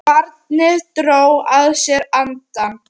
Barnið dró að sér andann.